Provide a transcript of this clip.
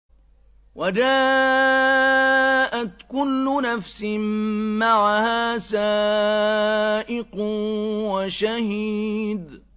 وَجَاءَتْ كُلُّ نَفْسٍ مَّعَهَا سَائِقٌ وَشَهِيدٌ